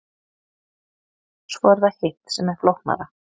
Svo er það hitt sem er flóknara.